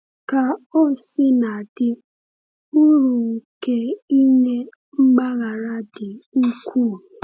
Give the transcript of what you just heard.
Ka o sina dị, uru nke inye mgbaghara dị ukwuu.